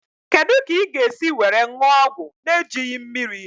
Kedụ kà ị ga esi were ṅụọ ọgwụ n'ejighi mmírí?